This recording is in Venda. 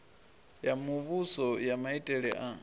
ya muvhuso ya maitele a